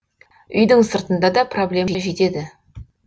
үйдің сыртында да проблема жетеді